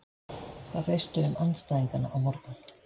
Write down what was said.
Hvað veistu um andstæðingana á morgun?